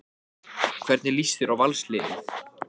Jú, þakka þér fyrir sagði Kata brosandi.